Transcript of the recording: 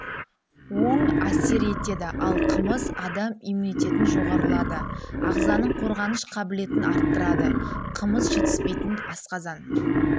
оң әсер етеді ал қымыз адам иммунитетін жоғарылады ағзаның қорғаныш қабылетін арттырады кымыз жетіспейтін асқазан